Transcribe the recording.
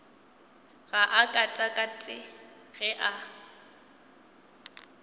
ga a katakate ge a